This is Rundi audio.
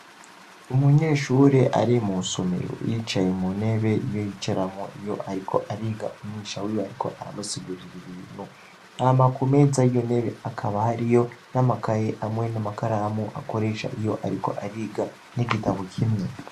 Umunyeshuri ari mu somero yicaye mu nebe iyo yicaramwo iyo, ariko ariga umwisha wiwe, ariko aramusigurira ibintu hama ku meza yo nebe akaba hari yo n'amakaye amwe n'amakaramu akoresha iyo, ariko ariga n'igitabo kimwe.